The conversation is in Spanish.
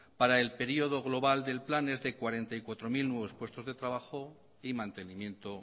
para el periodo global del plan es de cuarenta y cuatro mil nuevos puestos de trabajo y mantenimiento